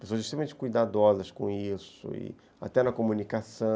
Pessoas extremamente cuidadosas com isso, e, até na comunica